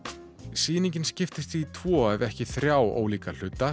sýningin skiptist í tvo ef ekki þrjá ólíka hluta